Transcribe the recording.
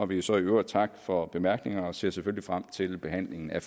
vil så i øvrigt takke for bemærkningerne og ser selvfølgelig frem til behandlingen af